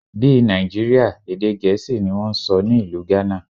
Bí Nàìjíríà, èdè Gẹ̀ẹ́sì ni wón ń sọ ní ìlú Ghana.